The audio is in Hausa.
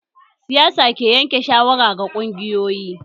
Siyasa ke yanke shawara ga ƙungiyoyi